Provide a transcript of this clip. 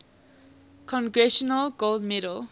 congressional gold medal